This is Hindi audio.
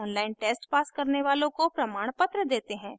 online test pass करने वालों को प्रमाणपत्र देते हैं